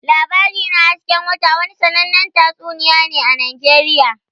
"Labari na hasken wata" wani sannanen tatsuniya ne a Najeriya.